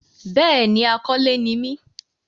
bẹ́ẹ̀ni, akọ́lé ni mí.